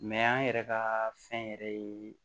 Mɛ an yɛrɛ ka fɛn yɛrɛ ye